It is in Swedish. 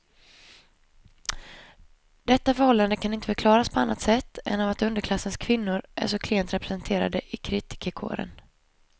Detta förhållande kan inte förklaras på annat sätt än av att underklassens kvinnor är så klent representerade i kritikerkåren.